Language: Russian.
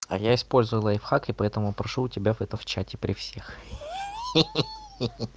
а я использую лайфхак и поэтому прошу у тебя в это в чате при всех хи-хи